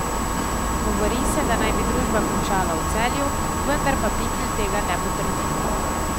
Govori se, da naj bi družba končala v Celju, vendar pa Pikl tega ne potrdi.